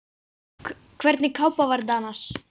Hvernig kápa var þetta annars?